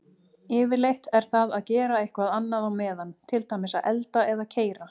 Yfirleitt er það að gera eitthvað annað á meðan, til dæmis elda eða keyra.